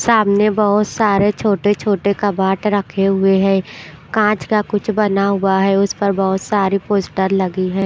सामने बहुत सारे छोटे-छोटे कबाट रखे हुए हैं कांच का कुछ बना हुआ है उस पर बहुत सारी पोस्टर लगी है।